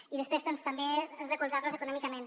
i després doncs també recolzar los econòmicament